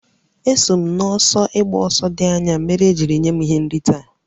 Eso m n'ọsọ ịgba ọsọ dị anya mere e ji nye m ihe nrite a